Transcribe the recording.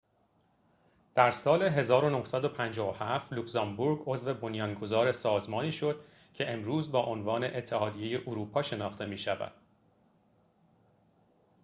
در سال ۱۹۵۷ لوگزامبورگ عضو بنیانگذار سازمانی شد که امروزه با عنوان اتحادیه اروپا شناخته می‌شود